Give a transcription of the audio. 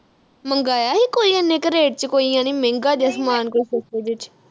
ਮੰਗਾਇਆ ਹੀ ਕੋਈ ਇੰਨੇ ਕੇ rate ਵਿਚ ਕੋਈ ਜਾਨੀ ਮਹਿੰਗਾ ਜਾ ਸਮਾਨ ਕੋਈ ਸਸਤੇ ਵਿਚ